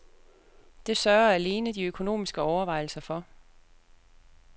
Det sørger alene de økonomiske overvejelser for.